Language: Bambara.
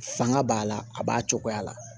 Fanga b'a la a b'a cogoya la